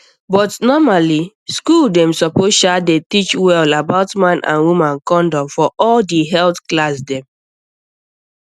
but normally school dem suppose sha dey teach well about man and woman condom for all di health class dem